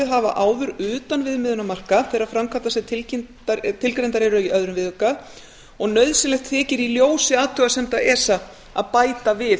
hafa utan viðmiðunarmarka þeirra framkvæmda sem tilgreindar eru í öðrum viðauka og nauðsynlegt þykir í ljósi athugasemda esa að bæta við